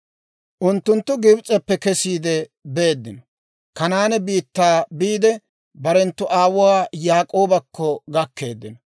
Unttunttu Gibs'eppe kesiide beeddino; Kanaane biittaa biide, barenttu aawuwaa Yaak'oobakko gakkeeddino.